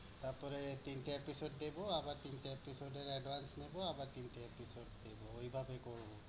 তারপরে তিনটে episode দিবো আবার তিনটে episode এর advanced নিবো, আবার তিনটে episode দিবো। ঐভাবে করবো।